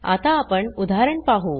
आता आपण उदाहरण पाहु